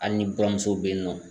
Ali ni buramuso be yen nɔ